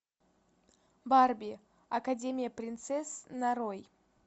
барби академия принцесс нарой